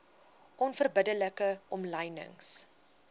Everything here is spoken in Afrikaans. onverbidde like omlynings